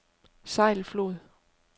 Sejlflod